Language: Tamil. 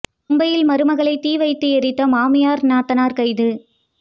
மும்பையில் மருமகளை தீ வைத்து எரித்த மாமியார் நாத்தனார் கைது